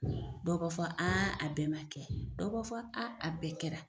Dɔw b'a fɔ a bɛɛ kɛla, dɔw b'a fɔ a bɛɛ kɛra.